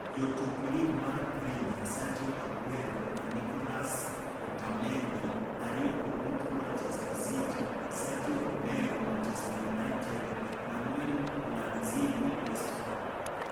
Jotuk Lig mar premia: Sergio Aguero na Nicolas Otamendi (aryogo duto Manchester City), Sergio Romero (Manchester United), Manuel Lanzini (West Ham).